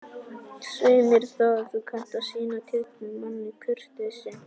Svei mér þá, þú kannt að sýna tignum manni kurteisi